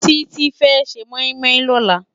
Titi fè sé moimoi lòlá